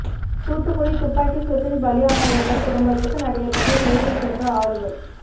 தூத்துக்குடி துப்பாக்கி சூட்டில் பலியானவர்கள் குடும்பத்துக்கு நடிகர் விஜய் நேரில் சென்று ஆறுதல்